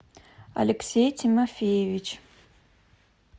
алексей тимофеевич